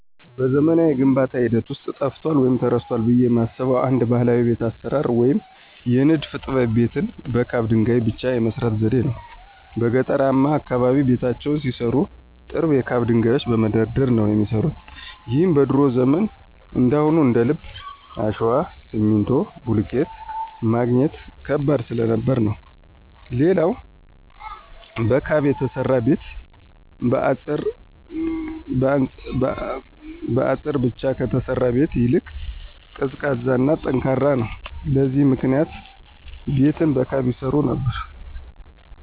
በዘመናዊው የግንባታ ሂደት ውስጥ ጠፍቷል ወይም ተረስቷል ብየ የማስበው አንድ ባህላዊ የቤት አሰራር ወይም የንድፍ ጥበብ ቤትን በካብ ድንገይ ብቻ የመስራት ዘዴን ነው። በገጠርማው አካባቢ ቤታቸውን ሲሰሩ ጥርብ የካብ ድንጋዮችን በመደርደር ነበር የሚሰሩት ይህም በድሮ ዘመን እንዳሁኑ እንደልብ አሸዋ፣ ሲሚንቶ፣ ብሎኬት ማግኘት ከባድ ስለነበር ነው። ሌላው በካብ የተሰራ ቤት በአጸር ብቻ ከተሰራ ቤት ይልቅ ቀዝቃዛ እና ጠንካራም ነው። ለዚህም ምክንያት ቤትን በካብ ይሰሩ ነበር።